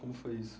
Como foi isso?